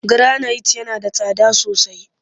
Giranayit yana da tsada sosai